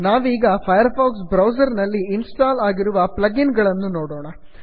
ನಾವೀಗ Firefox browser ನಲ್ಲಿ install ಆಗಿರುವ ಪ್ಲಗ್ ಇನ್ ಗಳನ್ನು ನೋಡೋಣ